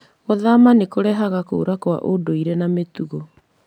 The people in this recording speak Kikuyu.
Gũthama nĩ kũrehaga kũũra kwa ũndũire na mĩtugo.